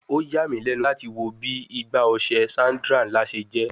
O ya mi lẹnu lati wo bi Igbá ọṣẹ Sandra nla ṣe jẹ